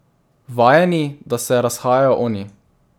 Vajeni, da se razhajajo oni.